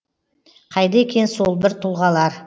қайда екен сол бір тұлғалар